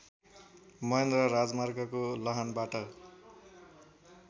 महेन्द्र राजमार्गको लाहानबाट